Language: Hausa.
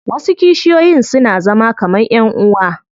Wasu kishiyoyin suna zama kaman ƴan uwa.